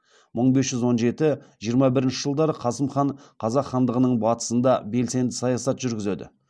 мың бес жүз он жеті жиырма бірінші жылдары қасым хан қазақ хандығының батысында белсенді саясат жүргізеді